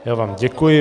Já vám děkuji.